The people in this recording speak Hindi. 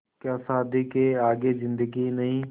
क्या शादी के आगे ज़िन्दगी ही नहीं